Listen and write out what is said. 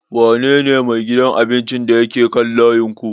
Wa ne ne mai wajen abincin da ya ke kaan layinku?